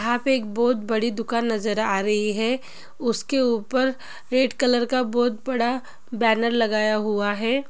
यहाँ पे एक बहुत बड़ी दुकान नज़र आ रही है उसके ऊपर रेड कलर का बोहत बड़ा बैनर लगाया हुआ है।